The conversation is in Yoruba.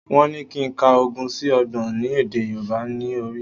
Wọ́n ní kí n ka ogún sí Ọgbọ̀n ní èdè Yorùbá ní orí